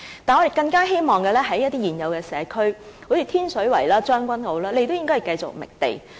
但是，我們更希望的是在現有社區，例如天水圍、將軍澳等，政府也繼續覓地。